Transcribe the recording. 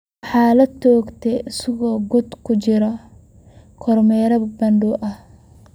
Waxaa la toogtay isagoo ku guda jira kormeer bandow ah.